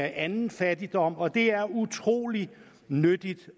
anden fattigdom og det er utrolig nyttigt